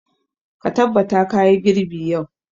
Ka tabbata ka yi girbi yau!